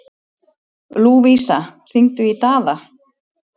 Lúvísa, hringdu í Daða.